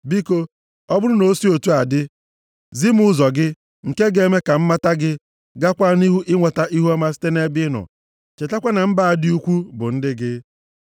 Biko, ọ bụrụ na o si otu a dị, zi m ụzọ gị, nke ga-eme ka m mata gị, gaakwa nʼihu inweta ihuọma site nʼebe ị nọ. Chetakwa na mba a dị ukwu bụ ndị gị.”